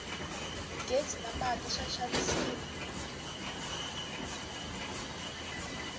ghezi na mati swa xavisiwa